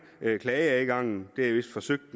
klageadgangen det er vist forsøgt